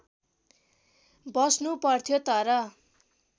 बस्नु पर्थ्यो तर